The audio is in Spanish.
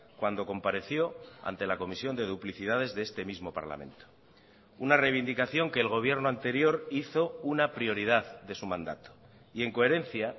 cuando compareció ante la comisión de duplicidades de este mismo parlamento una reivindicación que el gobierno anterior hizo una prioridad de su mandato y en coherencia